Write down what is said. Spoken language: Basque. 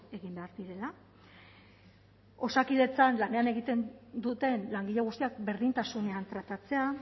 egin behar direla osakidetzan lanean egiten duten langile guztiak berdintasunean tratatzea